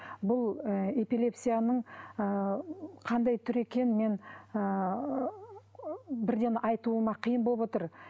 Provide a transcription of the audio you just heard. бұл ы эпилепсияның ы қандай түрі екенін мен ыыы бірден айтуыма қиын болып отыр